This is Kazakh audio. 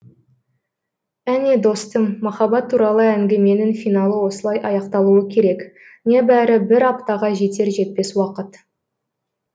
әне достым махаббат туралы әңгіменің финалы осылай аяқталуы керек небәрі бір аптаға жетер жетпес уақыт